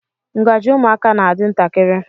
Ngaji ụmụaka na-adị ntakịrị.